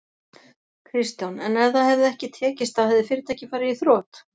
Kristján: En ef það hefði ekki tekist þá hefði fyrirtækið farið í þrot?